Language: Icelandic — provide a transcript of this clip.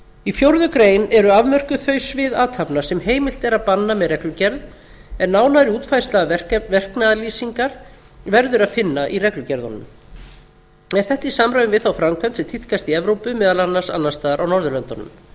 í fjórða grein eru afmörkuð þau svið athafna sem heimilt er að banna með reglugerð en nánari útfærsla verknaðarlýsingar verður að finna í reglugerðunum er þetta í samræmi við þá framkvæmd sem tíðkast í evrópu meðal annars annars staðar á norðurlöndunum